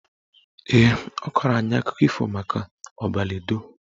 Ee, ọ kọrọ anyị akụkọ ifo maka Ọbaledo